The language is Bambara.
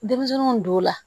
Denmisɛnninw don la